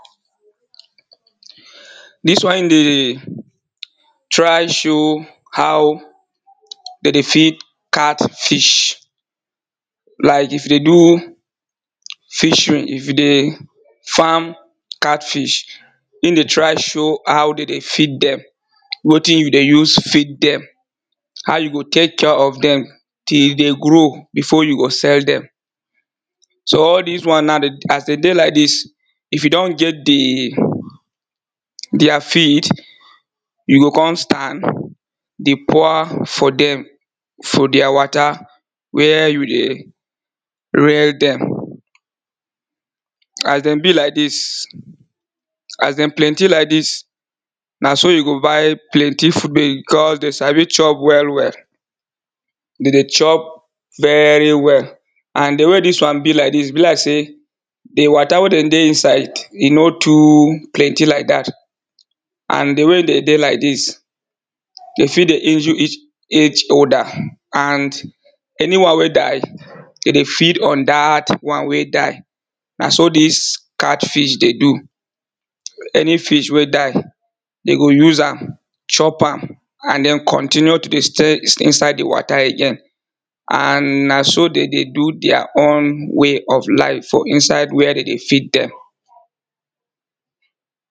Dis one dey try show how dey dey feed cat fish like if you dey do fishery if you dey farm cat fish, im dey try show how dey dey feed dem, wetin you dey use feed dem, how you go take care of dem till dey grow before you go sell dem. So all dis one now as dey dey like dis if you don get dia feed you go kon start dey pour for dem for dia water where you dey rear dem, as dem be like dis as dem plenty like dis na so you go buy plenty food becos dem sabi chop well well, dey dey chop very well and di way dis one be like dis e be like sey di water wey dey dey inside e no too plenty like dat and di way dey dey like dis dey fit dey injure each other and any one wey die dey dey feed on dat one wey die na so dis cat fish dey do, any fish wey die dey go use am, chop am and den continue to dey stay inside di water again and na so dey dey do dia own way of life for inside where dey dey feed dem.